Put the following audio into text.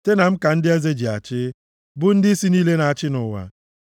Site na m ka ndị eze ji achị bụ ndịisi niile na-achị nʼụwa.